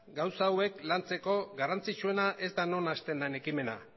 gauza hauek lantzeko garrantzitsuena ez da non hasten den ekimena